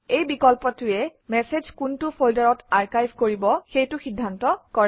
এই বিকল্পটোৱে মেচেজ কোনটো ফল্ডাৰত আৰ্ভাইভ কৰিব সেইটো সিদ্ধান্ত কৰে